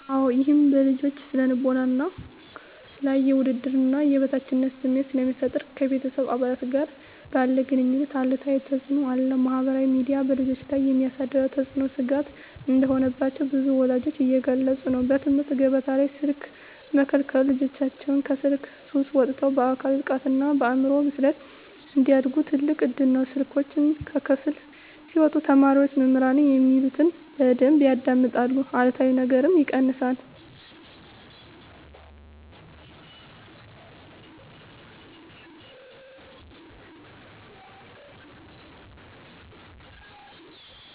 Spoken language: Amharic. -አወ ይህም በልጆች ስነ ልቦና ላይ የውድድርና የበታችነት ስሜት ስለሚፈጠር ... ከቤተሰብ አባላት ጋር ባለ ግኑኝነት አሉታዊ ተፅእኖ አለው። -ማኅበራዊ ሚዲያ በልጆች ላይ የሚያሳድረው ተጽዕኖ ስጋት እንደሆነባቸው ብዙ ወላጆች እየገለጹ ነው። -በትምህርት ገበታ ላይ ስልክ መከልከሉ ልጆቻችን ከስልክ ሱስ ወጥተው በአካል ብቃትና በአእምሮ ብስለት እንዲያድጉ ትልቅ እድል ነው። ስልኮች ከክፍል ሲወጡ ተማሪዎች መምህራን የሚሉትን በደንብ ያዳምጣሉ አሉታዊ ነገርም ይቀንሳል።